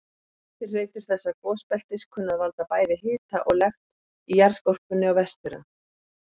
Eftirhreytur þessa gosbeltis kunna að valda bæði hita og lekt í jarðskorpunni á Vestfjörðum.